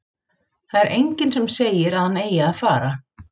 Það er enginn sem segir að hann eigi að fara.